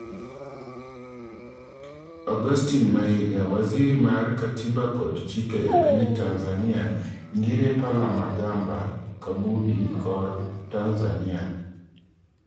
Augustine Mahiga, Waziri mar Katiba kod chik e piny Tnzania ngire Palamagamba Kabudi kor Tanzania